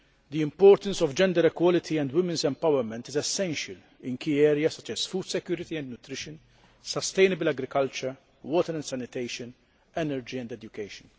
The importance of gender equality and women's empowerment is essential in key areas, such as food security and nutrition, sustainable agriculture, water and sanitation, energy and education.